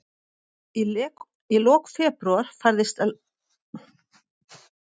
Í lok febrúar færðist landris í aukana, og í byrjun mars margfaldaðist jarðskjálftavirknin.